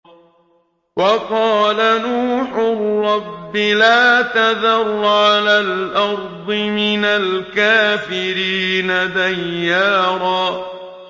وَقَالَ نُوحٌ رَّبِّ لَا تَذَرْ عَلَى الْأَرْضِ مِنَ الْكَافِرِينَ دَيَّارًا